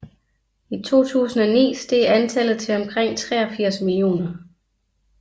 I 2009 steg antallet til omkring 83 millioner